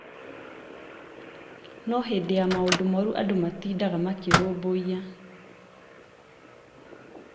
no hĩndĩ ya maũndũ moru andũ matindaga makĩrũmbũiya